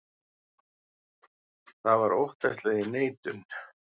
Það var óttaslegin neitun.